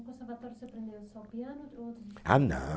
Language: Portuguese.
No conservatório você aprendia só piano? Ou outros instrumentos. Ah não